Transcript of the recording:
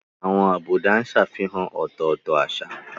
Àwọn àbùdá ń ṣàfihàn ọ̀tọ̀ọ̀tọ̀ àṣà.